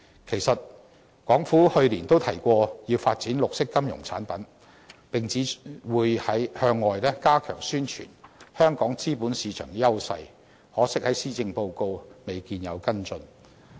其實，港府去年都提過要發展綠色金融產品，並指會向外加強宣傳香港資本市場的優勢，可惜在施政報告未見跟進。